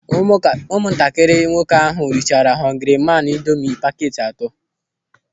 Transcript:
Ụmụntakịrị nwoke ahụ richara họngri maan ịndomị pakeeti atọ.